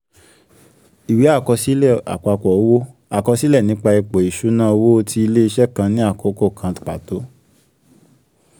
ìwé àkọsílẹ̀ àpapọ̀ owó: àkọsílẹ̀ nípa ipò ìṣúnná owó ti ilé-iṣẹ́ kan ní àkókò kan pàtó.